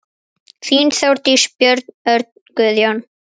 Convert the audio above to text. Þín, Þórdís, Björn, Örn, Guðjón.